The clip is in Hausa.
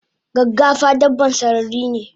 Gaggafa dabban sararine?